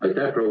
Aitäh!